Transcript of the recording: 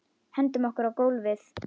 Hendum okkur á gólfið.